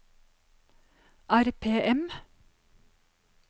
RPM